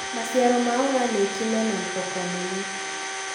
Maciaro ma organĩki mena thoko nene.